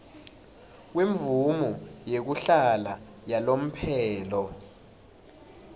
kwemvumo yekuhlala yalomphelo